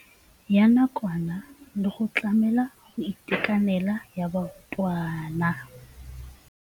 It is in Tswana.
Ya nakwana le go tlamela go itekanela ga barutwana.